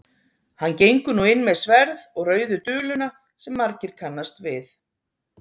Hann gengur nú inn með sverð og rauðu duluna sem margir kannast við.